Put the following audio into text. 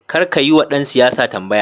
Karka yiwa ɗan siyasa tambaya.